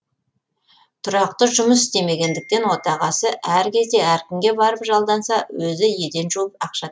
тұрақты жұмыс істемегендіктен отағасы әр кезде әркімге барып жалданса өзі еден жуып ақша